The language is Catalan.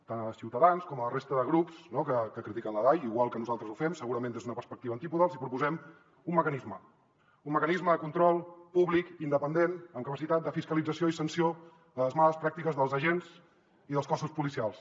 tant a ciutadans com a la resta de grups que critiquen la dai igual que nosaltres ho fem segurament des d’una perspectiva antípoda els hi proposem un mecanisme un mecanisme de control públic independent amb capacitat de fiscalització i sanció de les males pràctiques dels agents i dels cossos policials